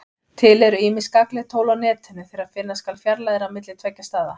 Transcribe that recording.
Til eru ýmis gagnleg tól á Netinu þegar finna skal fjarlægðir á milli tveggja staða.